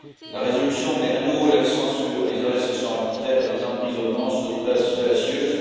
La résolution met à nouveau l'accent sur les arrestations arbitraires et les emprisonnements sur des bases fallacieuses.